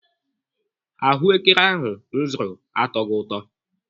Ahụekere ahụ m zụrụ atọghị ụtọ.